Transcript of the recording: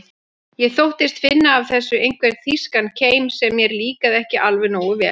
Ég þóttist finna af þessu einhvern þýskan keim sem mér líkaði ekki alveg nógu vel.